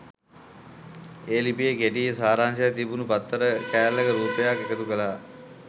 ඒ ලිපියේ කෙටි සාරාංශයක් තිබුණු පත්තර කෑල්ලක රූපයක් එකතු කළා.